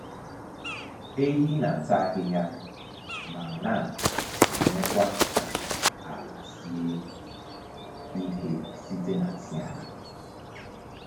Ehi na-ata ahịhịa ma na-emekwa ka ala sie ike site n’nsị ha.